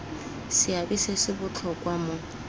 seabe se se botlhokwa mo